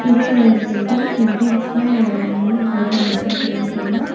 இது ஒரு பில்டிங் என்ட்ரன்ஸ்ல அதோட நேம் போர்டுல மென்ஷன் பண்ணிருக்காங்க.